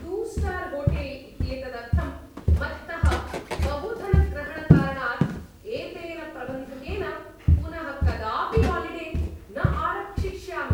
Two star hotel इत्येतदर्थं मत्तः बहुधनग्रहणकारणात् एतेन प्रबन्धकेन पुनः कदापि हालिडे न आरक्षिष्यामि।